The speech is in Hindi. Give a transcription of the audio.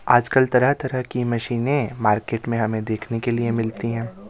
आजकल तरह तरह की मशीने मार्केट में हमें देखने के लिए मिलती हैं।